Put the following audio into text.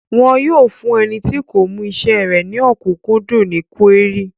Wọn yóò fún ẹni tí kò mú isẹ́ rẹ̀ ní ọ̀kúnkúndùn ní kúérì